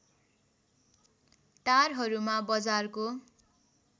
टारहरूमा बजारको